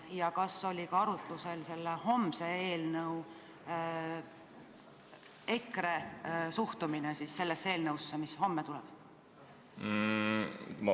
Ja kas oli ka arutlusel EKRE suhtumine eelnõusse, mis homme päevakorras on?